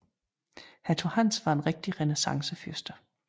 Hertug Hans var en rigtig renæssancefyrste